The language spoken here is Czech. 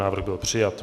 Návrh byl přijat.